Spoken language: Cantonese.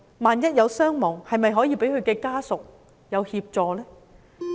萬一有傷亡，是否可以向其家屬提供協助呢？